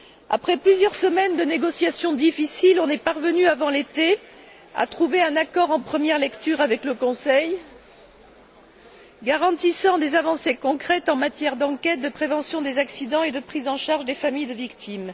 Après plusieurs semaines de négociations difficiles, nous sommes parvenus avant l'été à trouver un accord en première lecture avec le Conseil, garantissant des avancées concrètes en matière d'enquête, de prévention des accidents et de prise en charge des familles de victimes.